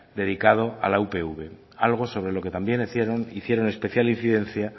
dedicado a la upv algo sobre lo que también hicieron especial incidencia